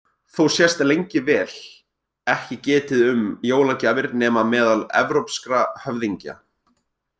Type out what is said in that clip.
Þó sést lengi vel ekki getið um jólagjafir nema meðal evrópskra höfðingja.